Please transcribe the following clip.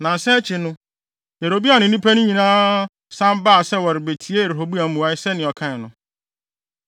Nnansa akyi no, Yeroboam ne nnipa no nyinaa san baa sɛ wɔrebetie Rehoboam mmuae sɛnea ɔkae no.